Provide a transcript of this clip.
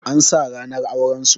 An sa ranar auren su